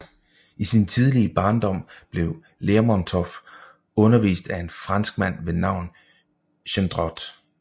I sin tidlige barndom blev Lermontov undervist af en franskmand ved navn Gendrot